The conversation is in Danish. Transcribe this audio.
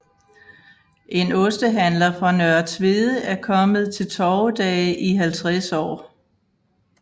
En ostehandler fra Nørre Tvede er kommet til torvedage i 50 år